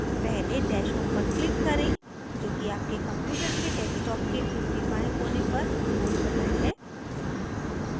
पहले dash home पर click करें जो कि आपके computer के desktop के ऊपरी बाएं कोने पर गोल button है